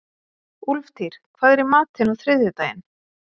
Úlftýr, hvað er í matinn á þriðjudaginn?